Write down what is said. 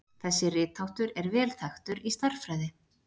Þessi ritháttur er vel þekktur í stærðfræði.